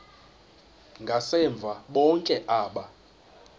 ngasemva bonke aba